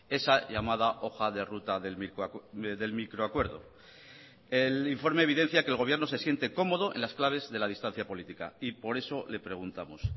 esa llamada hoja de ruta del microacuerdo el informe evidencia que el gobierno se siente cómodo en las claves de la distancia política y por eso le preguntamos